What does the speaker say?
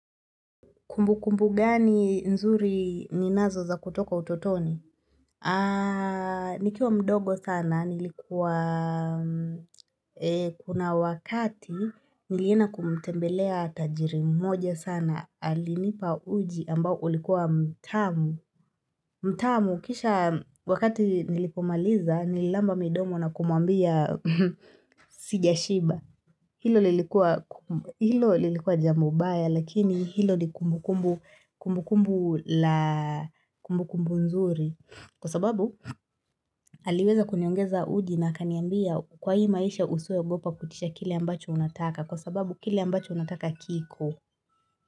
Kumbukumbu gani nzuri ninazo za kutoka utotoni? Nikiwa mdogo sana, nilikuwa kuna wakati nilienda kumtembelea tajiri mmoja sana, alinipa uji ambao ulikuwa mtamu. Mtamu, kisha wakati nilipomaliza, nililamba midomo na kumwambia sijashiba. Hilo lilikuwa jambo mbaya lakini hilo ni kumbukumbu la kumbukumbu nzuri kwa sababu aliweza kuniongeza uji na akaniambia kwa hii maisha usiwahi ogopa kuitisha kile ambacho unataka kwa sababu kile ambacho unataka kiko.